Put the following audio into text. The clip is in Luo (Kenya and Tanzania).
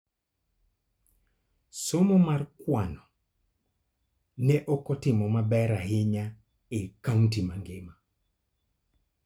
Somo mar kwan ne ok otimo maber ahinya e county mangima.